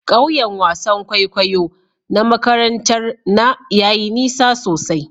Kauyen wasan kwaikwayo na makarantar na yayi nisa sosai.